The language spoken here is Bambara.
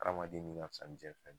Adamaden nin ka fis ni jiɲɛn fɛn bɛ ye